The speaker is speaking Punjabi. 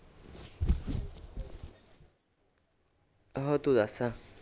ਹੋਰ ਤੂੰ ਦੱਸ